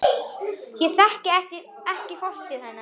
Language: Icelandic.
Ég þekki fortíð hennar.